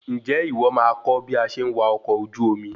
Ǹjẹ́ ìwọ máa kọ́ bí a ṣe ń wa ọkọ ojú omi?